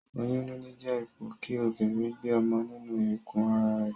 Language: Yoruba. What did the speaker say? Oyún níní jé ipò kí obìrin gbe ọmọ nínu ikù ara rè